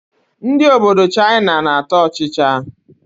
Ndị obodo Chaịna na-ata ọchịchị.